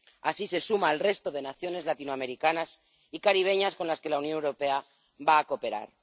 Así se suma al resto de naciones latinoamericanas y caribeñas con las que la Unión Europea va a cooperar.